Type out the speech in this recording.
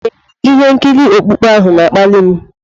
Ee, ihe nkiri okpukpe ahụ na-akpali m.